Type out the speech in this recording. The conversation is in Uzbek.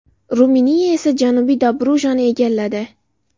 Ruminiya esa Janubiy Dobrujani egalladi.